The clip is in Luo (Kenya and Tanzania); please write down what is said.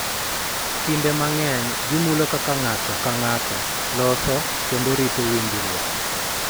Kinde mang�eny, gimulo kaka ng�ato ka ng�ato loso kendo rito winjruok,